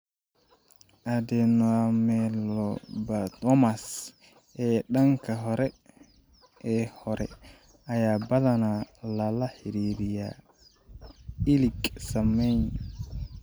Adenoameloblastomas ee daanka hore ee hore ayaa badanaa lala xiriiriyaa ilig saameeyay.